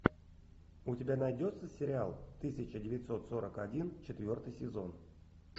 у тебя найдется сериал тысяча девятьсот сорок один четвертый сезон